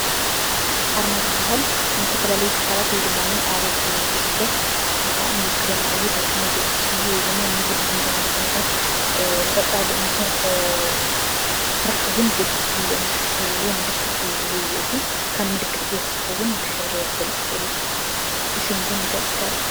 ኣርማ ዝበሃል ንዝተፈላለዩ ትካላት ወይ ድማ ኣባላት ጉጅለ ንዕኦም ይውክለና እዩ ፣ ታሪክና ይገልፀና እዩ ወይ ድማ ነዚ ሕዚ ዝኒሀናዮ ኩነታት ንቀፃሊ እንሰርሖ ስራሕ እውን ይገልፅ እዩ ኢሎም ዝሓሰብዎ ምልክት ዝህብዎ እዩ። ካብ ምልክት ብተወሳኪ እውን ብሕብሪ ክገልፁ ይክእሉ እዮም፤ ብሽም እውን ምግላፅ ይከኣል እዩ።